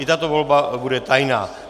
I tato volba bude tajná.